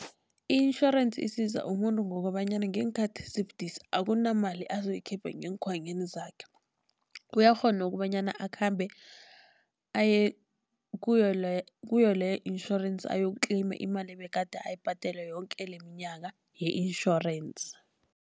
I-insurance isiza umuntu ngokobanyana ngeenkhathi ezibudisi akunamali azoyikhipha ngeenkhwanyeni zakhe. Uyakghona kobanyana akhambe aye kuyo kuyo leyo insurance ayokutleyima imali ebegade ayibhadela yoke leminyaka ye-insurance.